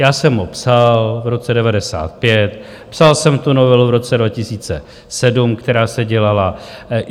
Já jsem ho psal v roce 1995, psal jsem tu novelu v roce 2007, která se dělala.